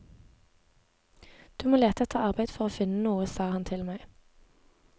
Du må lete etter arbeid for å finne noe, sa han til meg.